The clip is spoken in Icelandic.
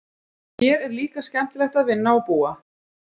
Hér er líka skemmtilegt að vinna og búa.